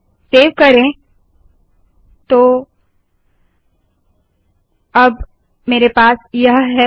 save करे तो अब मेरे पास यह है